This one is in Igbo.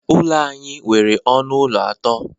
Ụlọ anyị nwere ọnụ ụlọ atọ.